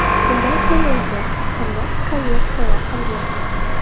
Shundan so‘ng unga qimmat konyak sovg‘a qilgan.